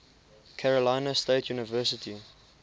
carolina state university